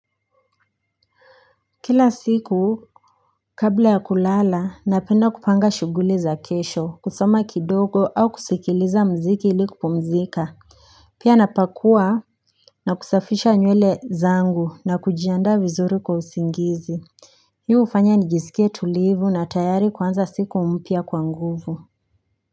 Kila siku kabla ya kulala napenda kupanga shughuli za kesho kusoma kidogo au kusikiliza mziki ilikupumzika. Pia napakua na kusafisha nywele zangu na kujianda vizuri kwa usingizi. Hii hufanya nijisikia tulivu na tayari kuanza siku mpya kwa nguvu.